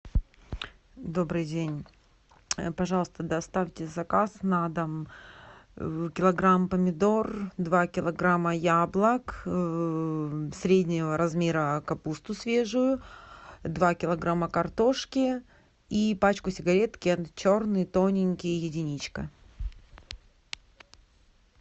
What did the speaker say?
добрый день пожалуйста доставьте заказ на дом килограмм помидор два килограмма яблок среднего размера капусту свежую два килограмма картошки и пачку сигарет кент черный тоненький единичка